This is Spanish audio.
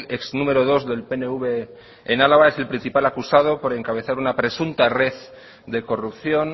ex número dos del pnv en álava es el principal acusado por encabezar una presunta red de corrupción